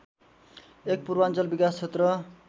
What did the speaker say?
१ पूर्वाञ्चल विकास क्षेत्र